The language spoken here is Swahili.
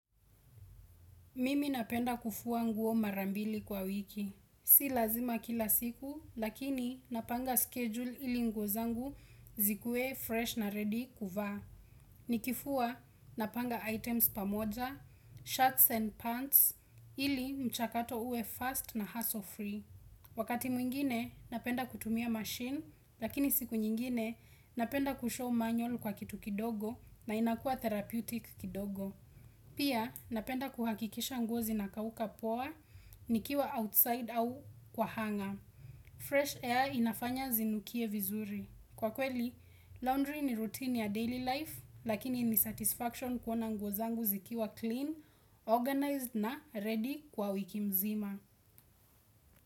Mimi napenda kuvua nguo mara mbili kwa wiki. Si lazima kila siku, lakini napanga schedule ili nguo zangu zikuwe fresh na ready kuvaa. Nikivua, napanga items pamoja, shirts and pants, ili mchakato uwe fast na hassle-free. Wakati mwingine, napenda kutumia machine, lakini siku nyingine, napenda kushow manual kwa kitu kidogo na inakua therapeutic kidogo. Pia, napenda kuhakikisha nguo zinakauka poa, nikiwa outside au kwa hanga. Fresh air inafanya zinukie vizuri. Kwa kweli, laundry ni routine ya daily life, lakini ni satisfaction kuona ngozangu zikiwa clean, organized na ready kwa wiki mzima.